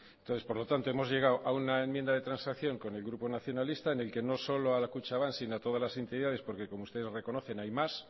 entonces por lo tanto hemos llegado a una enmienda de transacción con el grupo nacionalista en el que no solo a kutxabank sino a todas las entidades porque como ustedes reconocen hay más